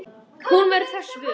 Hún verður þess vör.